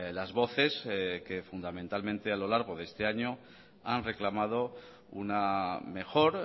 las voces que fundamentalmente a lo largo de este año han reclamado una mejor